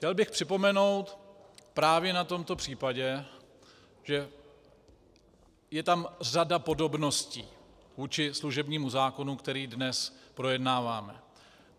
Chtěl bych připomenout právě na tomto případě, že je tam řada podobností vůči služebnímu zákonu, který dnes projednáváme.